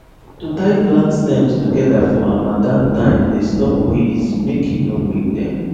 to tie plant stems together for harmattan time dey stop breeze mk e no break them